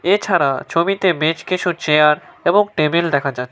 এছাড়া ছবিতে বেশ কিছু চেয়ার এবং টেবিল দেখা যা--